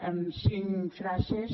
en cinc frases